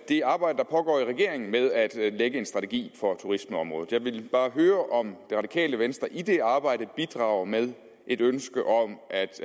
det arbejde der pågår i regeringen med at lægge en strategi for turismeområdet jeg vil bare høre om det radikale venstre i det arbejde bidrager med et ønske om